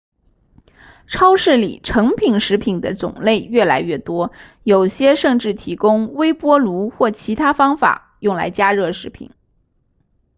超市里成品食品的种类越来越多有些甚至提供微波炉或其他方法用来加热食品